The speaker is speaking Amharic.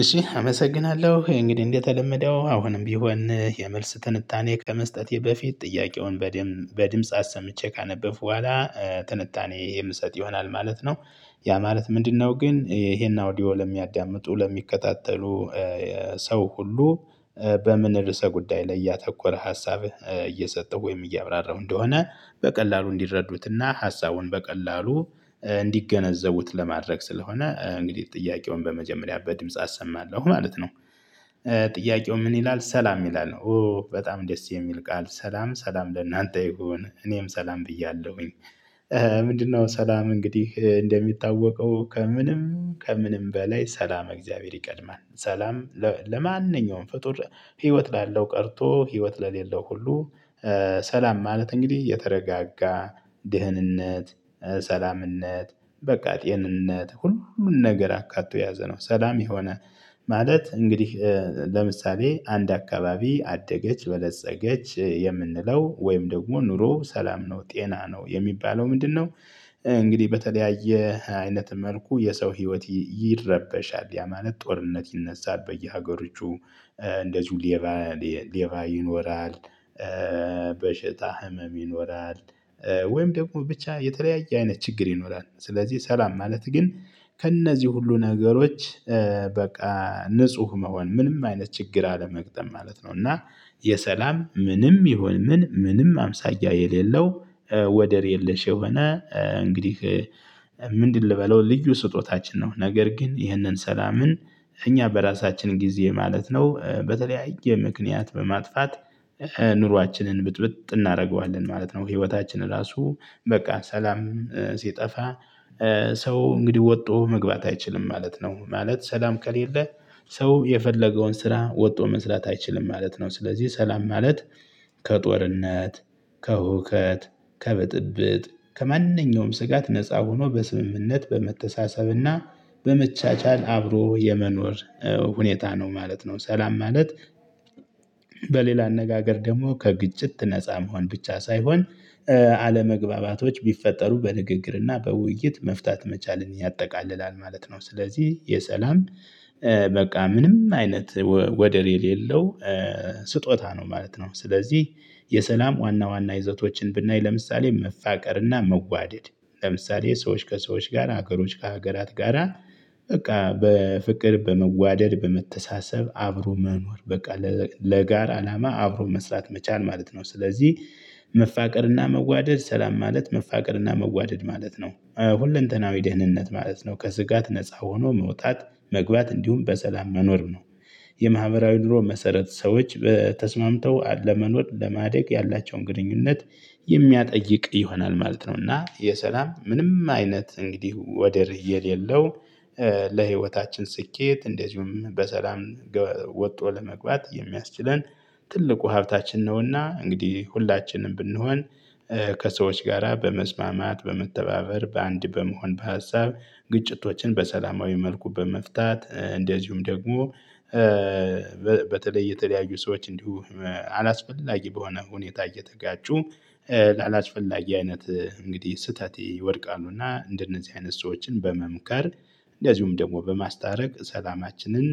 እሺ አመሰግናለሁ እንግዲህ እንደተለመደው አሁንም ቢሆን የመልስ ትንታኔ ከመስጠቴ በፊት ጥያቄውን በድምጽ አሰምቼ ካነበብክ በኋላ ትንታኔ ይሄ ምሰጥ ይሆናል ማለት ነው። ያ ማለት ምንድነው? ግን ይሄን አውዲዮ ለሚያዳምጡ ለሚከታተሉ ሰው ሁሉ በምን ርዕሰ ጉዳይ ላይ እያተኮረ ሀሳብ እየሰጠው ወይም እያብራራው እንደሆነ በቀላሉ እንዲረዱትና ሀሳቡን በቀላሉ እንዲገነዘቡት ለማድረግ ስለሆነ እንግዲህ ጥያቄውን በመጀመሪያ በድምጽ አሰማለሁ ማለት ነው። ጥያቄው ምን ይላል ሰላም ይላል ነው? ኦ በጣም ደስ የሚል ቃል ሰላም ሰላም ለእናንተ ይሁን እኔም ሰላም ብያለሁኝ። ምንድነው? ሰላም እንግዲህ እንደሚታወቀው ከምንም ከምንም በላይ ሰላመ እግዚአብሔር ይቀድማል። ሰላም ለማንኛውም ፍጡር ህይወት ላለው ቀርቶ ህይወት ለሌለው ሁሉ። ሰላም ማለት እንግዲህ እየተረጋጋ ድህንነት ሰላም ነት በቃ ጤንነት ሁሉ ሁሉ ነገር አካቶ ያዘ ነው። ሰላም የሆነ ማለት እንግዲህ። ለምሳሌ አንድ አካባቢ አደገች በለፀገች የምንለው ወይም ደግሞ ኑሮ ሰላም ነው ጤና ነው የሚባለው ምንድነው? እንግዲህ በተለያየ አይነት መልኩ የሰው ህይወት ይረበሻል ያማለት ጦርነት ይነሳል በየሀገሮቹ። እንደ ጁሊየባ ሌባ ይኖራል። በሽታ ህመም ይኖራል። ወይም ደግሞ ብቻ የተለያየ አይነት ችግር ይኖራል። ስለዚህ ሰላም ማለት ግን ከእነዚህ ሁሉ ነገሮች በቃ ንጹህ መሆን ምንም አይነት ችግር አለመግጠም ማለት ነው። እና የሰላም ምንም ይሁን ምን ምንም አምሳያ የሌለው። ወደር የለሽ የሆነ እንግዲህ ምንድን ልበለው ልዩ ስጦታችን ነው። ነገር ግን ይህንን ሰላምን እኛ በራሳችን ጊዜ ማለት ነው በተለያየ ምክንያት በማጥፋት ኑሯችንን ብጥብጥ እናደርገዋለን ማለት ነው። ህይወታችን ራሱ በቃ ሰላም ሲጠፋ ሰው እንግዲህ ወጥቶ መግባት አይችልም ማለት ነው። ማለት ሰላም ከሌለ ሰው የፈለገውን ስራ ወጥቶ መስራት አይችልም ማለት ነው። ስለዚህ ሰላም ማለት ከጦርነት ከውከት ከበጥብጥ ከማንኛውም ስጋት ነፃ ሆኖ በስምምነት በመተሳሰብና በመቻቻል አብሮ የመኖር ሁኔታ ነው ማለት ነው። ሰላም ማለት። በሌላ አነጋገር ደግሞ ከግጭት ነፃ መሆን ብቻ ሳይሆን አለመግባባቶች ቢፈጠሩ በንግግርና በውይይት መፍታት መቻልን ያጠቃልላል ማለት ነው። ስለዚህ የሰላም በቃ ምንም አይነት ወደር የሌለው ስጦታ ነው ማለት ነው። ስለዚህ የሰላም ዋና ዋና ይዘቶችን ብናይ ለምሳሌ መፋቀርና መዋደድ ለምሳሌ ሰዎች ከሰዎች ጋር ሀገሮች ከሀገራት ጋራ በቃ በፍቅር በመዋደድ በመተሳሰብ አብሮ መኖር በቃ ለጋራ አላማ አብሮ መስራት መቻል ማለት ነው። ስለዚህ መፋቀርና መዋደድ ሰላም ማለት መፋቀርና መዋደድ ማለት ነው ሁለንተናዊ ደህንነት ማለት ነው። ከስጋት ነፃ ሆኖ መውጣት መግባት እንዲሁም በሰላም መኖር ነው። የማህበራዊ ኑሮ መሰረት ሰዎች በተስማምተው ለመኖር ለማደግ ያላቸውን ግንኙነት የሚያጠይቅ ይሆናል ማለት ነው። እና የሰላም ምንም አይነት እንግዲህ ወደ እየሌለው ስኬት እንደዚሁም በሰላም ወጥቶ ለመግባት የሚያስችለን ትልቁ ሀብታችን ነውና እንግዲህ ሁላችንም ብንሆን። ከሰዎች ጋራ በመስማማት በመተባበር በአንድ በመሆን በሀሳብ ግጭቶችን በሰላማዊ መልኩ በመፍታት እንደዚሁም ደግሞ። በተለይ የተለያዩ ሰዎች እንዲሁ አላስፈላጊ በሆነ ሁኔታ እየተጋጩ አላስፈላጊ አይነት እንግዲህ ስህተት ይወድቃሉና እንደነዚህ አይነት ሰዎችን በመምከር እንዲያውም ደግሞ በማስታረቅ ሰላማችንን